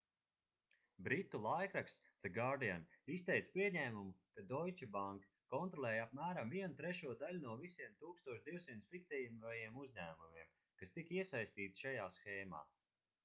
britu laikraksts the guardian izteica pieņēmumu ka deutsche bank kontrolēja apmēram vienu trešo daļu no visiem 1200 fiktīvajiem uzņēmumiem kas tika iesaistīti šajā shēmā